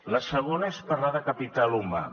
la segona és parlar de capital humà